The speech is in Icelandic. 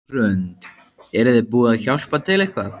Hrund: Eruð þið búin að hjálpa til eitthvað?